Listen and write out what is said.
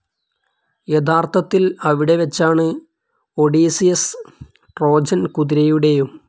യഥാർത്ഥത്തിൽ അവിടെവെച്ചാണ് Odysseus, Trojan കുതിരയുടേയും.